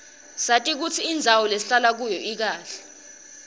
sati kutsi indzawo lesihlala kuyo ikahle